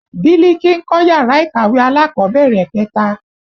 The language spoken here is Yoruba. Biliki ń kọ́ yàrá ìkàwé alákọ̀bẹ̀rẹ̀ kẹta